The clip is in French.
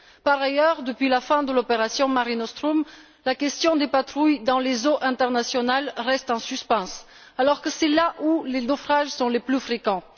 Par ailleurs, depuis la fin de l'opération Mare Nostrum, la question des patrouilles dans les eaux internationales reste en suspens, alors que c'est là que les naufrages sont les plus fréquents.